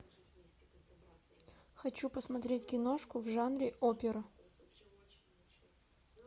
хочу посмотреть киношку в жанре опера